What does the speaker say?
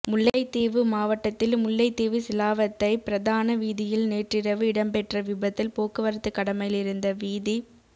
முல்லைத்தீவு மாவட்டத்தில் முல்லைத்தீவு சிலாவத்தை பிரதான வீதியில் நேற்றிரவு இடம்பெற்ற விபத்தில் போக்குவரத்து கடமையிலிருந்த வீதிப்